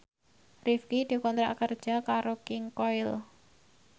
Rifqi dikontrak kerja karo King Koil